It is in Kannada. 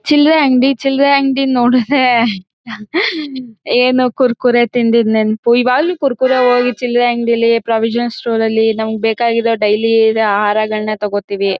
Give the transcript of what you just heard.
ಚಿಲ್ರೆ ಅಂಗಡಿ ಚಿಲ್ರೆ ಅಂಗಡಿ ನೋಡುದ್ರೆ ಏನು ಕುರ್ಕುರೆ ತಿಂದಿದ್ ನೆನಪು ಇವಾಗ್ಲೂ ಕುರ್ಕುರೆ ಹೋಗಿ ಚಿಲ್ರೆ ಅಂಗಡಿಲಿ ಪ್ರಾವಿಷನ್ ಸ್ಟೋರ್ ಅಲ್ಲಿ ನಮ್ಗ್ ಬೇಕಾಗಿರೋ ಡೈಲಿ ಆ ಆಹಾರಗಳ್ನ ತೊಗೊಳ್ತಿವಿ.